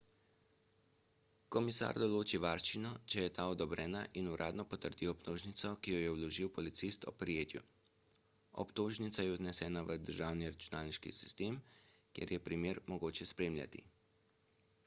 komisar določi varščino če je ta odobrena in uradno potrdi obtožnico ki jo je vložil policist ob prijetju obtožnica je vnesena v državni računalniški sistem kjer je primer mogoče spremljati